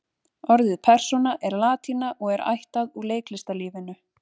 Orðið persóna er latína og er ættað úr leiklistarlífinu.